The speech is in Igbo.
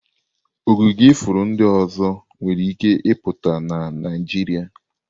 Ogige ifuru ndị ọzọ nwere ike ịpụta na Naịjirịa.